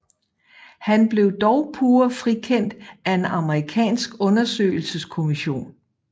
Han blev dog pure frikendt af en amerikansk undersøgelseskommission